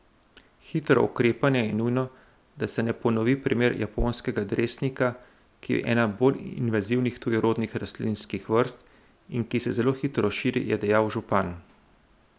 Hitro ukrepanje je nujno, da se ne ponovi primer japonskega dresnika, ki je ena bolj invazivnih tujerodnih rastlinskih vrst in ki se zelo hitro širi, je dejal župan.